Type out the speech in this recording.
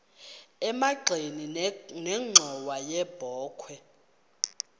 emagxeni nenxhowa yebokhwe